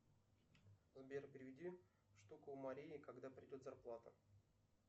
сбер переведи штуку марии когда придет зарплата